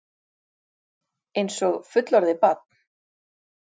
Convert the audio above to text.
Einsog fullorðið barn.